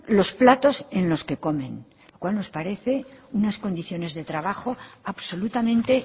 los platos en los que comen lo cual nos parece unas condiciones de trabajo absolutamente